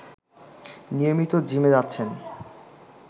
নিয়মিত জিমে যাচ্ছেন